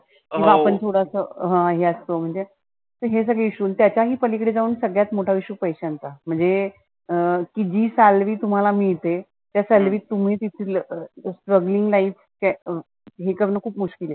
आपण थोडसं हे असतो म्हणजे. तर हे सगळ issues. आणि त्याच्या ही पलिकडे जाऊन सगळ्यात मोठा issue पैशांचा म्हणजे अं की जी salary तुम्हाला मिळते त्या salary त तुम्ही तीथलं strugling life हे करण खुप मुश्किल आहे.